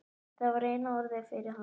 Það var eina orðið yfir hann.